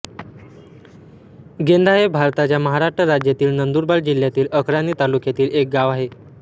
गेंदा हे भारताच्या महाराष्ट्र राज्यातील नंदुरबार जिल्ह्यातील अक्राणी तालुक्यातील एक गाव आहे